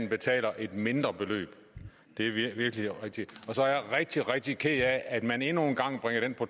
betaler et mindre beløb det er virkelig rigtigt så er jeg rigtig rigtig ked af at man endnu en gang bringer den